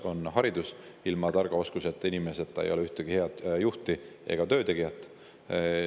Esiteks, haridus, sest ilma tarkuse ja oskusteta ei ole ühtegi head juhti ega töötegijat.